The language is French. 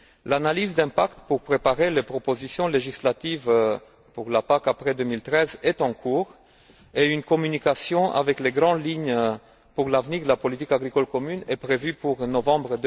L'analyse d'impact pour préparer les propositions législatives pour la PAC après 2013 est en cours et une communication avec les grandes lignes pour l'avenir de la politique agricole commune est prévue pour novembre